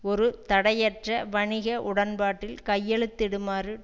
ஒரு தடையற்ற வணிக உடன்பாட்டில் கையெழுத்திடுமாறு